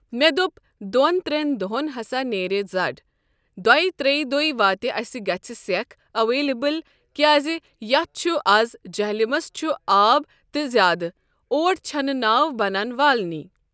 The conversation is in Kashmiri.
مےٚ دوٚپ دۄن ترٛٮ۪ن دۄہَن ہَسا نیرِ زَڈ دۄیہِ ترٛیہِ دُہۍ واتہِ اَسہِ گژھِ سیٚکھ اٮ۪ولیبٕل کیٛازِ یَتھ چھُ آز جَہلِمَس چھُ آب تہِ زیادٕ اوڑ چھَنہٕ ناو بَنَن والنٕے۔